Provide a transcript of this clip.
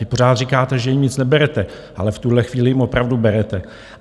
Vy pořád říkáte, že jim nic neberete, ale v tuhle chvíli jim opravdu berete.